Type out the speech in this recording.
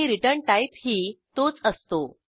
आणि रिटर्न टाईपही तोच असतो